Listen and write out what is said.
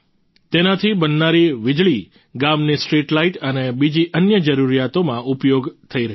તેનાથી બનનારી વિજળી ગામની સ્ટ્રીટ લાઈટ અને બીજી અન્ય જરૂરિયાતોમાં ઉપયોગ થઈ રહી છે